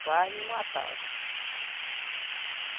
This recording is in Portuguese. Quase me matava.